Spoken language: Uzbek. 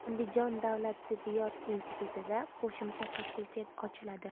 Andijon davlat tibbiyot institutida qo‘shma fakultet ochiladi.